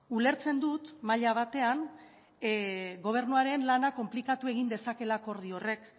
ulertzen dut maila batean gobernuaren lana konplikatu egin dezakeela akordio horrek